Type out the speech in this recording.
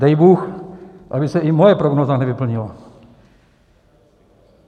Dej bůh, aby se i moje prognóza nevyplnila.